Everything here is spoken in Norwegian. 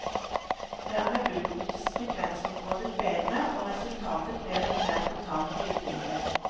Dermed utnyttes frekvensområdet bedre, og resultatet blir et mer totalt lydbilde.